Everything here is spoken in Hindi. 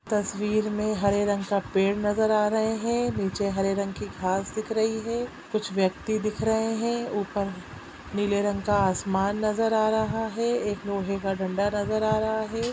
तस्वीर में हरे रंग का पेड़ नजर आ रहे है नीचे हरे रंग की घाँस दिख रही है कुछ व्यक्ति दिख रहे हैऊपर नीले रंग का आसमान नजर आ रहा है एक लोहे का डंडा नजर आ रहा है।